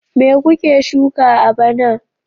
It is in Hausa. Me kuke shuka a bana?